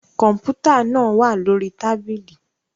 Kọmputa naa wa lori tabili